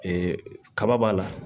kaba b'a la